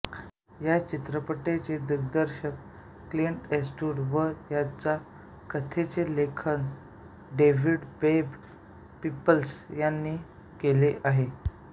या चित्रपटाचे दिग्दर्शन क्लिंट ईस्टवुड व याच्या कथेचे लेखन डेव्हिड वेब पिपल्स याने केले आहे